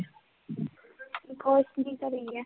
ਘਰੇ ਹੀ ਹੈ?